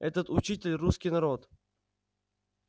этот учитель русский народ